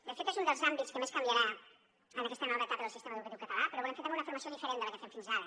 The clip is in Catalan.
de fet és un dels àmbits que més canviarà en aquesta nova etapa del sistema educatiu català però volem fer també una formació diferent de la que fèiem fins ara